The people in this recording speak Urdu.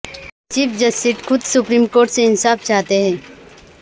چیف جسٹس خود سپریم کورٹ سے انصاف چاہتے ہیں